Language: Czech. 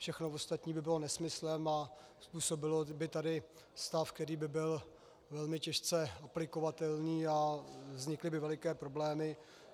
Všechno ostatní by bylo nesmyslem a způsobilo by tady stav, který by byl velmi těžce aplikovatelný a vznikly by veliké problémy.